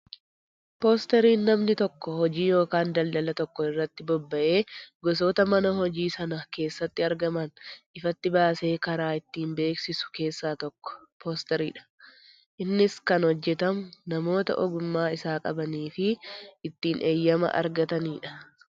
Poostariin namni tokko hojii ykn Daldala tokko irrratti bobba'ee gosoota mana hojii sana keessatti argaman ifatti baasee karraa ittiin beeksisu keessa tokko poostariidha. Innis kan hojjetamu namoota ogummaa isaa qabanii fi ittin heyyama argatanidha.